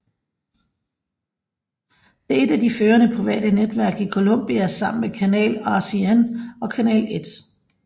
Det er et af de førende private netværk i Colombia sammen med Canal RCN og Canal 1